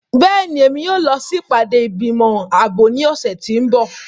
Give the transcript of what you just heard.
Bẹ́ẹ̀ni, Emi yóò lọ si ipade igbimọ aabo ni ọsẹ ti n bọ.